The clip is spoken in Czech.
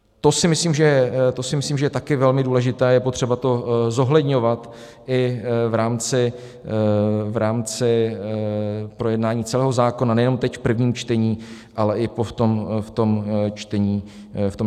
To si myslím, že je také velmi důležité, je potřeba to zohledňovat i v rámci projednání celého zákona, nejenom teď v prvním čtení, ale i v tom čtení druhém.